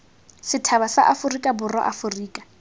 sethaba sa aforika borwa aforika